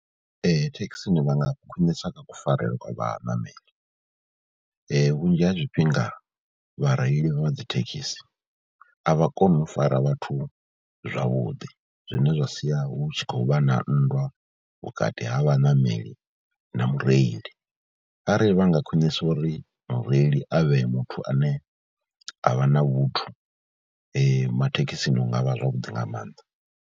Ee, thekhisini vha nga khwinisa kha kufarelwe kwa vhaṋameli, vhunzhi ha zwifhinga vhareili vha dzi thekhisi a vha koni u fara vhathu zwavhuḓi zwine zwa sia hu tshi khou vha na nndwa vhukati ha vhaṋameli na mureili arali vha nga khwinisa uri mureili a vhe muthu ane a vha na vhuthu mathekhisini Hu nga vha zwavhuḓi nga maanḓa.